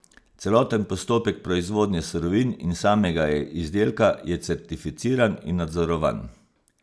Celoten postopek proizvodnje surovin in samega izdelka je certificiran in nadzorovan.